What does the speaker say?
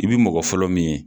I bi mɔgɔ fɔlɔ min ye